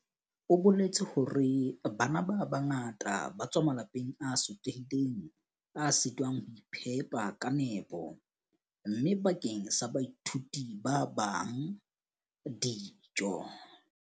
O boletse hore, Bana ba bangata ba tswa malapeng a sotlehileng a sitwang ho iphepa ka nepo, mme bakeng sa baithuti ba bang, dijo.